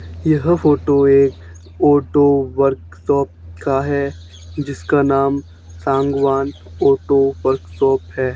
यह फोटो एक auto workshop का है जिसका नाम सांगवान ऑटो वर्कशॉप है।